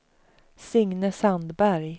Signe Sandberg